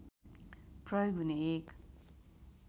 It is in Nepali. प्रयोग हुने एक